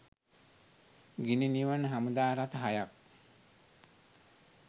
ගිනි නිවන හමුදා රථ හයක්